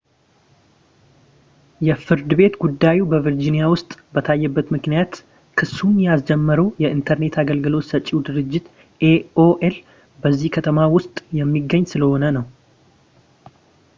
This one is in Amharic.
የፍርድ ቤት ጉዳዩ በvirginia ውስጥ የታየበት ምክንያት ክሱን ያስጀመረው የኢንተርኔት አገልግሎት ሰጪው ድርጅት aol በዚሁ ከተማ ውስጥ የሚገኝ ስለሆነ ነው